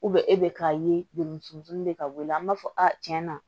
e bɛ k'a ye demunsun de ka bɔ i la an b'a fɔ a tiɲɛna